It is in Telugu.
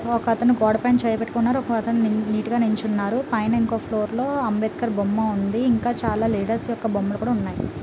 ఒకతను గోడపై చేయి పెట్టుకున్నారు. ఇంకో అతను నీటుగా నిల్చున్నాడు. పైన ఇంకో ఫ్లోర్ లో అంబేద్కర్ బొమ్మ ఉంది. ఇంకా చాలా లీడర్స్ యొక్క బొమ్మలు కూడా ఉన్నాయి.